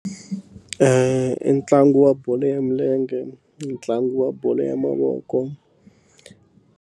I ntlangu wa bolo ya milenge ntlangu wa bolo ya mavoko.